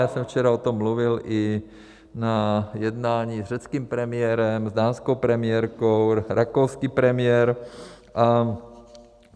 Já jsem včera o tom mluvil i na jednání s řeckým premiérem, s dánskou premiérkou, rakouským premiérem.